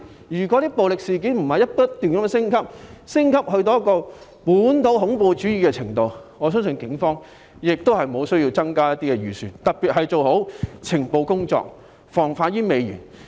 如果暴力事件不是不斷升級，升級至本土恐怖主義的程度，我相信警方也不需要增加預算，特別是用於加強情報工作，防患於未然。